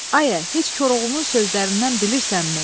“Ayə, heç Koroğlunun sözlərindən bilirsənmi?”